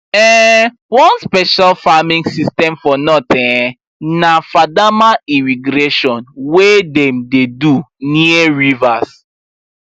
um one special farming system for north um na fadama irrigation wey dem dey do near rivers